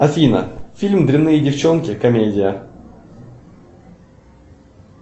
афина фильм дрянные девчонки комедия